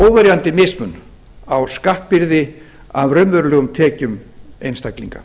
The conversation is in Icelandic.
óverjandi mismun á skattbyrði af raunverulegum tekjum einstaklinga